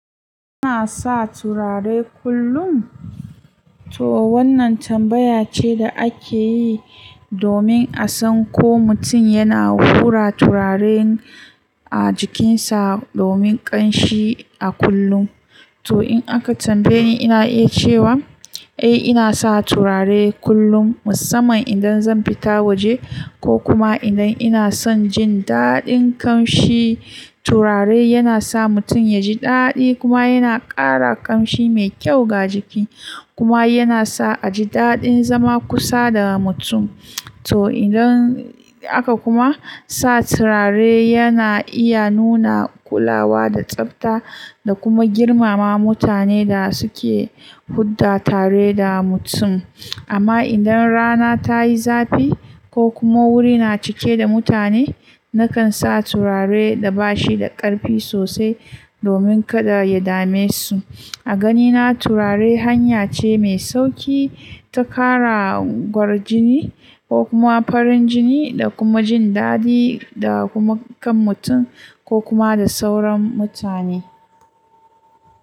Ina sa turare kullum? To wannan tambaya ce da ake yi domin a san ko mutum yana hura turare a jikinsa domin ƙanshi a kullum. To in aka tambaye ni, ina iya cewa eh ina sa turare kullum musamman idan zan fita waje ko kuma idan ina son jin daɗin ƙamshi. Turare yana sa mutum ya ji daɗi kuma yana ƙara ƙanshi mai kyau ga jiki kuma yana sa a ji daɗin zama kusa da mutum. To idan aka kuma sa turare yana iya nuna kulawa da tsabta da kuma girmama mutanen da suke hudda tare da mutum. Amma idan rana ta yi zafi ko kuma wuri na cike da mutane, nakan sa turare da bashi da ƙarfi sosai domin kada ya dame su. A ganina turare hanya ce mai sauƙi ta ƙara gwarjini ko kuma farin jini da kuma jin daɗi da kuma kan mutum ko kuma da sauran mutane.